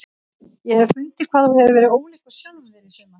Ég hef fundið hvað þú hefur verið ólíkur sjálfum þér í sumar.